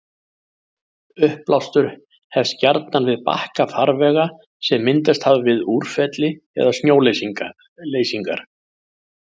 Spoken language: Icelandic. Uppblástur hefst gjarnan við bakka farvega sem myndast hafa við úrfelli eða snjóleysingar.